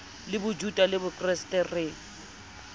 le bojuta le bokreste re